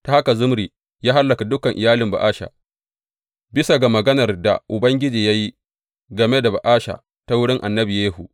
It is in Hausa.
Ta haka Zimri ya hallaka dukan iyalin Ba’asha, bisa ga maganar da Ubangiji ya yi game da Ba’asha ta wurin annabi Yehu.